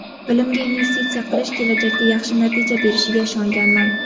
Bilimga investitsiya qilish kelajakda yaxshi natija berishiga ishonganman.